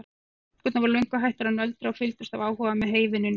Stúlkurnar voru löngu hættar að nöldra og fylgdust af áhuga með heyvinnunni.